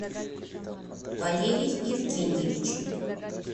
валерий евгеньевич